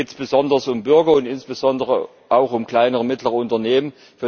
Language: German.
Hier geht es besonders um Bürger und insbesondere auch um kleine und mittlere Unternehmen.